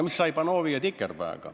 Mis sai Panovi ja Tikerpega?